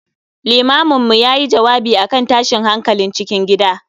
Limamin mu yayi jawabi akan tashin hankalin cikin gida